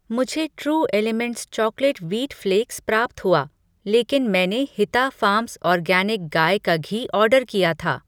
मुझे true elements chocolate wheat flakes प्राप्त हुआ लेकिन मैंने हिता फ़ार्म्स ऑर्गैनिक गाय का घी ऑर्डर किया था।